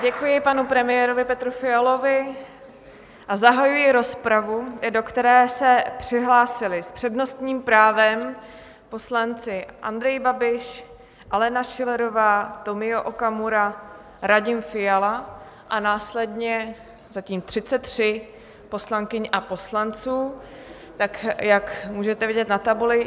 Děkuji panu premiérovi Petru Fialovi a zahajuji rozpravu, do které se přihlásili s přednostním právem poslanci Andrej Babiš, Alena Schillerová, Tomio Okamura, Radim Fiala a následně zatím 33 poslankyň a poslanců, tak jak můžete vidět na tabuli.